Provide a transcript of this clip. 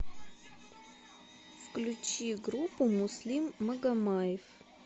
включи группу муслим магомаев